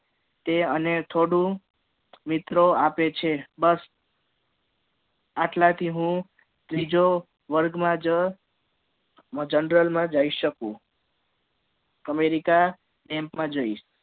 તે અને થોડું મિત્રો આપે છે બસ આટલા થી હુ ત્રીજો વર્ગ માં જ જનરલ માં જઇ સકુ america માં જઈશ